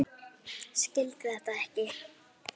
Í rauða bílnum hjá þér.